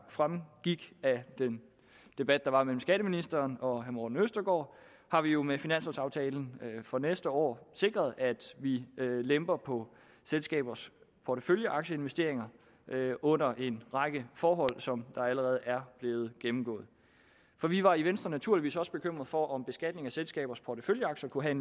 fremgik af den debat der var mellem skatteministeren og herre morten østergaard har vi jo med finanslovaftalen for næste år sikret at vi lemper på selskabers porteføljeaktieinvesteringer under en række forhold som allerede er blevet gennemgået for vi var i venstre naturligvis også bekymret for om beskatning af selskabers porteføljeaktier kunne have